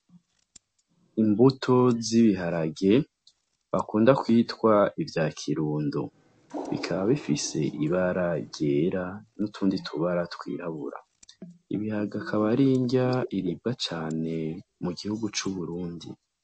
Imbuto zibiharage bakunda kwitwa ivya kirundo bikaba bifise ibara ryera n'utundi tubara twirabura ibihaga akabaringya iriba cane mu gihugu c'uburundi.